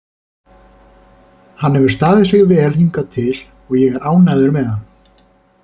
Hann hefur staðið sig vel hingað til og ég er ánægður með hann.